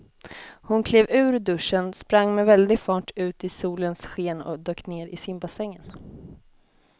Hon klev ur duschen, sprang med väldig fart ut i solens sken och dök ner i simbassängen.